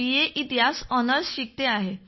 ए इतिहास ऑनर्स शिकतो आहे